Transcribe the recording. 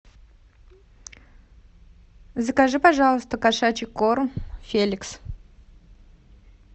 закажи пожалуйста кошачий корм феликс